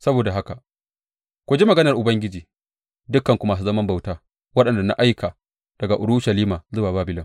Saboda haka, ku ji maganar Ubangiji, dukanku masu zaman bauta waɗanda na aika daga Urushalima zuwa Babilon.